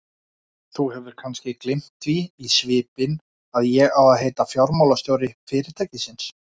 Þú hefur kannski gleymt því í svipinn að ég á að heita fjármálastjóri fyrirtækisins?